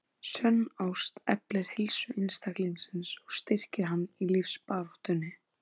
Sönn ást eflir heilsu einstaklingsins og styrkir hann í lífsbaráttunni.